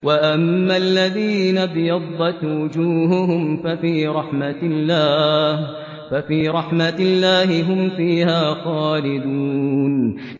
وَأَمَّا الَّذِينَ ابْيَضَّتْ وُجُوهُهُمْ فَفِي رَحْمَةِ اللَّهِ هُمْ فِيهَا خَالِدُونَ